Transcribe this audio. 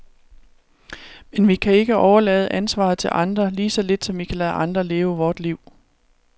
Men vi kan ikke overlade ansvaret til andre, lige så lidt som vi kan lade andre leve vort liv.